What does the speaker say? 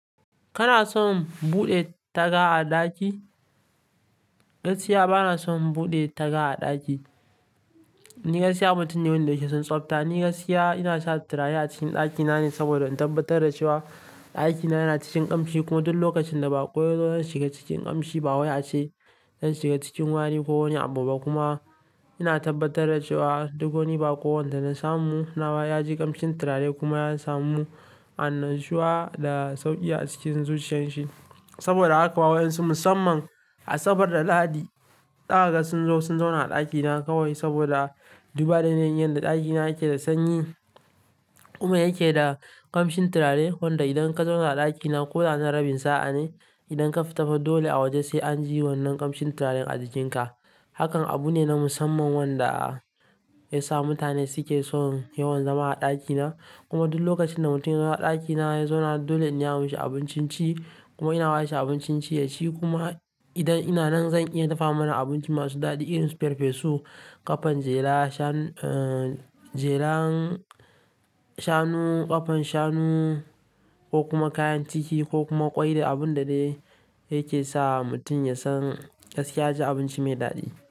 Kana son buɗe taga a ɗaki? Gaskiya bana son buɗe taga a ɗaki. Ni gaskiya mutane wanda sh suke son tsabta. Ni gaskiya ina sa turare a cikin ɗakina ne saboda in tabbatar da cewa ɗakina yana cikin ƙamshi kuma duk lokacin da baƙo yazo zai shiga cikin ƙamshi ba, wa ya ce zai shiga cikin wari ko ko wani abu ba kuma ina tabbatar da cewa duk wani baƙo wanda na samu nawa ya ji ƙamshin turare kuma ya samu annashuwa da sauƙi a cikin zuciyar shi. Saboda haka wa su musamman a sabar da ladi ɗaga sun zo sun zauna a ɗakina kawai saboda duba da yanayin yanda ɗakina yake da sanyi kuma yake da ƙamshin turare wanda idan ka zauna a ɗakina ko da na rabin sa'a ne, idan ka tafi dole a waje sai an ji wannan ƙamshin turaren a jikinka. Hakan abu ne na musamman wanda ya sa mutane suke son yawan zama a ɗakina kuma duk lokacin da mutum ya zo ɗakina ya zauna dole in iya yi masa abincin ci kuma ina bawa shi abincin ci ya ci kuma idan ina nan zan iya dafa mana abinci masu daɗi irin su farfesu, ƙafan jera shan-- jeren shanu, ƙfan shanu ko kuma kayan ciki ko kuma ƙwai da abun da dai yake sa mutum ya san gaskiya ji abinci mai daɗi.